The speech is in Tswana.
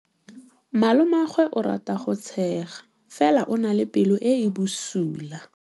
Malomagwe o rata go tshega fela o na le pelo e e bosula.